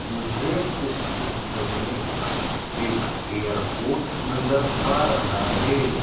मुझे इस चित्र में एक एयरपोर्ट नजर आ रहा है।